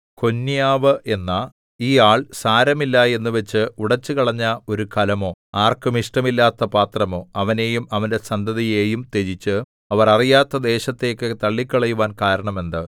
കൊന്യാവ് എന്ന ഈ ആൾ സാരമില്ല എന്നുവച്ച് ഉടച്ചുകളഞ്ഞ ഒരു കലമോ ആർക്കും ഇഷ്ടമില്ലാത്ത പാത്രമോ അവനെയും അവന്റെ സന്തതിയെയും ത്യജിച്ച് അവർ അറിയാത്ത ദേശത്തേക്ക് തള്ളിക്കളയുവാൻ കാരണം എന്ത്